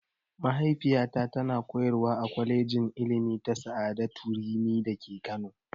Mahaifiyata ta na koyarwa a kwalejin ilimi ta sa'adatu rimi da ke Kano